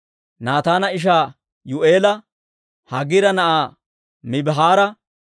Naataana ishaa Yuu'eela, Haagira na'aa Mibihaara,